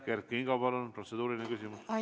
Kert Kingo, palun, protseduuriline küsimus!